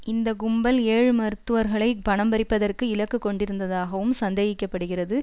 இந்த கும்பல் ஏழு மருத்துவர்களை பணம் பறிப்பதற்கு இலக்கு கொண்டிருந்ததாகவும் சந்தேகிக்க படுகிறது